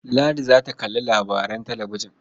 Ladi za ta kalli labaran talabijin.